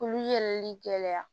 Olu yɛlɛli gɛlɛya